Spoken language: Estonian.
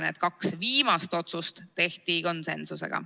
Need kaks viimast otsust tehti konsensusega.